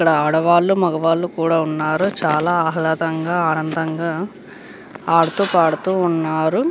ఇక్కడ ఆడవాళ్లు మగవాళ్ళు కూడా ఉన్నారు చాలా ఆహ్లాదంగా ఆనందంగా ఆడుతూ పాడుతూ ఉన్నారు.